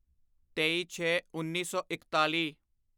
ਤੇਈਛੇਉੱਨੀ ਸੌ ਇਕਤਾਲੀ